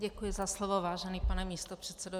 Děkuji za slovo, vážený pane místopředsedo.